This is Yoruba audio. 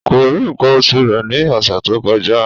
Kò rí nǹkan oṣù rẹ̀ ní ọ̀sẹ̀ tó kọjá